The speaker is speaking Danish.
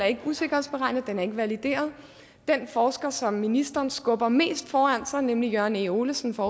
ikke er usikkerhedsberegnet den er ikke valideret den forsker som ministeren skubber mest foran sig nemlig jørgen e olesen fra